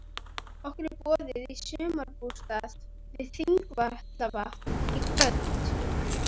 Okkur er boðið í sumarbústað við Þingvallavatn í kvöld.